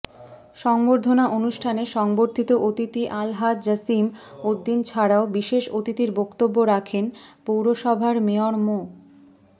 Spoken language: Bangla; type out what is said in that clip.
সংবর্ধনা অনুষ্ঠানে সংবর্ধিত অতিথি আলহাজ জসিম উদ্দিন ছাড়াও বিশেষ অতিথির বক্তব্য রাখেন পৌরসভার মেয়র মো